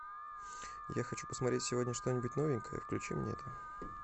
я хочу посмотреть сегодня что нибудь новенькое включи мне это